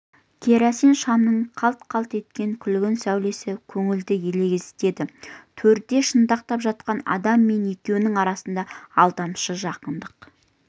керосин шамның қалт-қалт еткен күлгін сәулесі көңілді елегзітеді төрде шынтақтап жатқан адаммен екеуінің арасына алдамшы жақындық